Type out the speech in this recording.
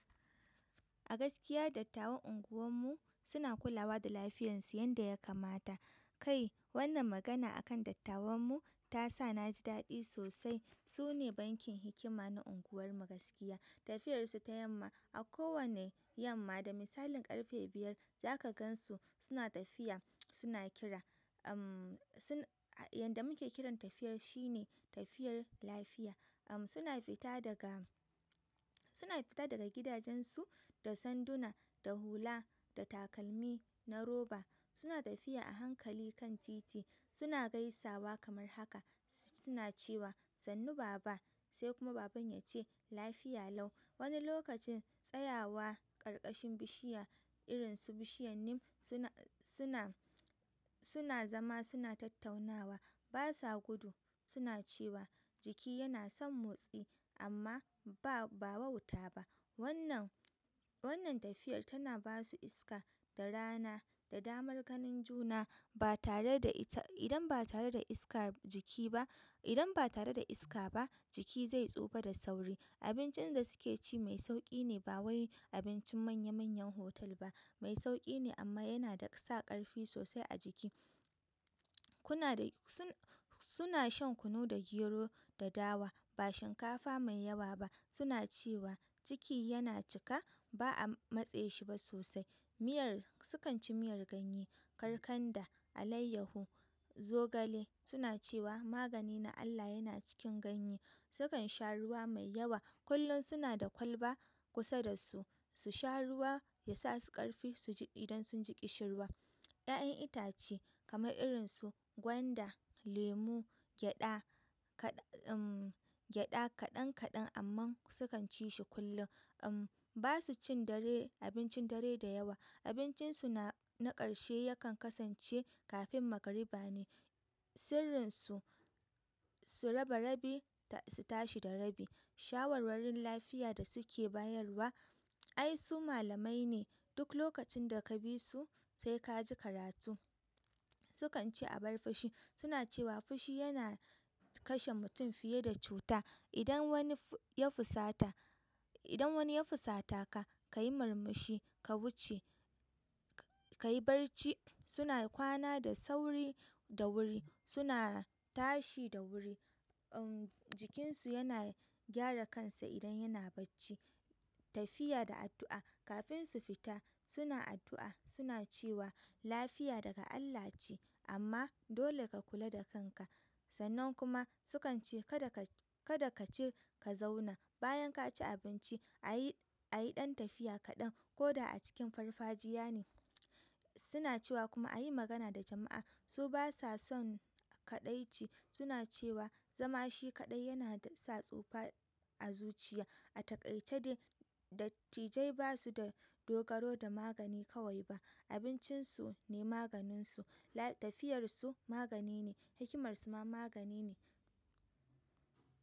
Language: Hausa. A gaskiya dattawan unguwar mu suna kulawa da lafiyarsu yanda ya kamata. Kai wannan magana akan dattawan mu ta sa na ji daɗi sosai. Su ne bankin hikima na unguwar mu gaskiya. Tafiyar su ta yamma a kowane yamma, da misalin ƙarfe biyar za ka gan su suna tafiya, suna kira. Uhm, sun, a yanda muke kiran tafiyar shi ne tafiyar lafiya. Uhm, suna fita daga, suna fita daga gidajen su da sanduna, da hula, da takalmi na roba. Suna tafiya a hankali kan titi, suna gaisawa kamar haka. Suna cewa "sannu baba" sai kuma baban ya ce "lafiya lau". Wani lokacin tsayawa ƙarƙashin bishiya irin su bishiyar neem suna, suna, suna zama suna tattaunawa. Ba sa gudu. Suna cewa jiki yana son motsi amma ba, ba wauta ba. Wannan, wannan tafiyar tana ba su iska, da rana, da damar ganin juna ba tare da ita, idan ba tare da iska jiki ba, idan ba tare da iska ba jiki zai tsufa da sauri. Abincin da suke ci mai sauƙi ne ba wai abincin manya manyan hotel ba. Mai sauƙi ne amma yana sa ƙarfi sosai a jiki. Kuna da, suna shan kunu da gero da dawa. Ba shinkafa mai yawa ba. Suna cewa ciki yana cika ba'a matse shi ba sosai. Miyar sukan ci miyar ganye, karkanda, alayyahu, zogale. Suna cewa magani na Allah yana cikin ganye. Sukan sha ruwa mai yawa. Kullum suna da kwalba kusa da su. Su sha ruwa ya sa su ƙarfi su ji idan sun ji ƙishirwa. 'Ya'yan itace kamar irin su gwanda, lemu, gyaɗa, kaɗa uhm, gyaɗa kaɗan kaɗan amma sukan ci shi kullum. Uhm, ba su cin dare, abincin dare da yawa. Abincin su na, na ƙarshe yakan kasance kafin magariba ne. Sirrin su, su raba rabi su tashi da rabi. Shawarwarin lafiya da su ke bayarwa, ai su malamai ne. Duk lokacin da ka bi su sai ka ji karatu. Su kan ci abar fashi. Suna cewa fushi yana kashe mutum fiye da cuta. Idan wani ya fusata, idan wani ya fusata ka, ka yi murmushi, ka wuce, ka yi barci. Su na kwana da sauri da wuri. Su na tashi da wuri. Uhm, jikin su yana gyara kansa idan yana bacci. Tafiya da addu'a. Kafin su fita suna addu'a suna cewa lafiya daga Allah ce amma dole ka kula da kanka. Sannan kuma sukan ce kada kaci ka zauna bayan ka ci abinci a yi, a yi ɗan tafiya kaɗan ko da a cikin farfajiya ne. Suna cewa kuma a yi magana da jama'a. Su ba sa son kaɗaici. Suna cewa zama shi kaɗai yana sa tsufa a zuciya. A taƙaice dai dattijai ba suda dogaro da magani kawai ba abincin su ne maganin su. Tafiyar su magani ne. Hikimar su ma magani ne.